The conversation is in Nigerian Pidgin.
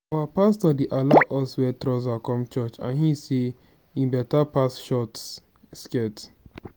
our pastor dey allow us wear trouser come church and he say e better pass short skirt